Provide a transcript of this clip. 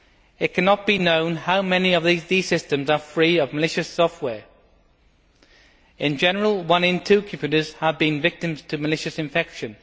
It cannot be known how many of these systems are free of malicious software. In general, one in two computers have been victims to malicious infection.